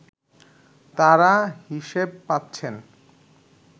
তারা হিসেব পাচ্ছেন